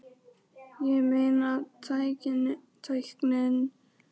Ég meina tækninni flýtur alltaf áfram, hvar endar þetta?